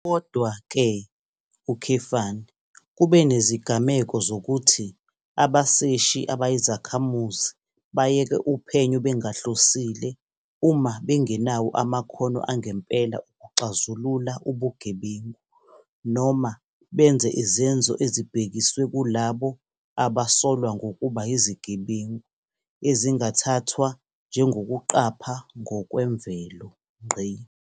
Kodwa-ke, kube nezigameko zokuthi abaseshi abayizakhamuzi bayeke uphenyo bengahlosile uma bengenawo amakhono angempela okuxazulula ubugebengu noma benze izenzo ezibhekiswe kulabo abasolwa ngokuba yizigebengu ezingathathwa njengokuqapha ngokwemvelo.